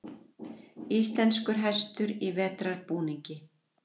íslenskur hestur í vetrarbúningi